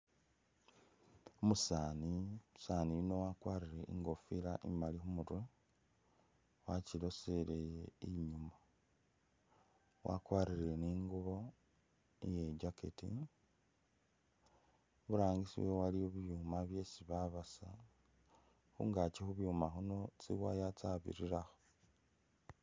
Umusani, umusani yuuno wakwarile ingofila imaali imurwe wachilosele inyuma wakwarile ni'ngubo iye jacket iburangisi waliyo bibyuma byesi babasa khungaachi khubyuma bino tsiwaya tsabirirakho